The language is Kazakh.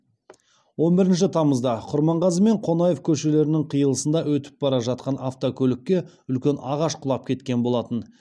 он бірінші тамызда құрманғазы мен қонаев көшелерінің қиылысында өтіп бара жатқан автокөлікке үлкен ағаш құлап кеткен болатын